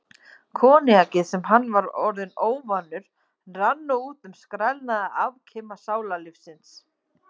Koníakið, sem hann var orðinn óvanur, rann nú um skrælnaða afkima sálarlífsins.